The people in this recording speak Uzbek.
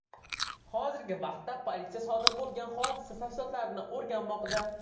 Hozirgi vaqtda politsiya sodir bo‘lgan hodisa tafsilotlarini o‘rganmoqda.